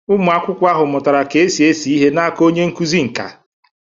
Ụmụ akwụkwọ ahụ mụtara ka esi ese ihe n'aka onye nkụzi nkà.